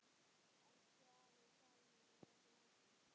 Elsku afi Dalli er látinn.